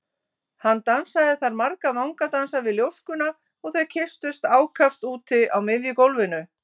Hann dansaði þar marga vangadansa við ljóskuna og þau kysstust ákaft úti á miðju gólfinu.